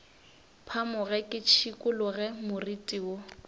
phamoge ke šikologe moriti wo